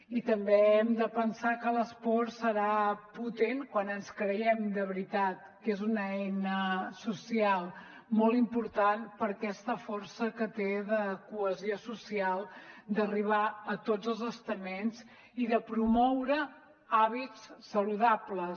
i també hem de pensar que l’esport serà potent quan ens creiem de veritat que és una eina social molt important per aquesta força que té de cohesió social d’arribar a tots els estaments i de promoure hàbits saludables